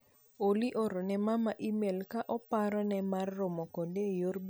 Olly ooro ne mama imel ka oparo ne mar romo kode e yor bedo gi migago mar odhiambo.